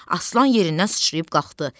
Aslan yerindən sıçrayıb qalxdı.